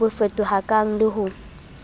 bo fetohakang le f ho